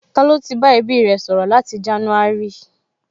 Ta ló ti bá ẹbí rẹ̀ sọ̀rọ̀ láti jánúárì?